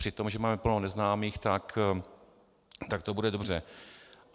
Při tom, že máme plno neznámých, tak to bude dobře.